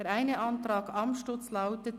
Der eine Antrag Amstutz lautet: